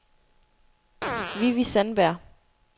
Vivi Sandberg